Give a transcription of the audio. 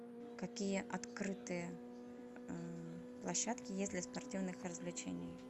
какие открытые площадки есть для спортивных развлечений